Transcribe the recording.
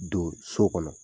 Don so kɔnɔ